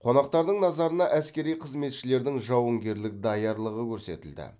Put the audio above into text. қонақтардың назарына әскери қызметшілердің жауынгерлік даярлығы көрсетілді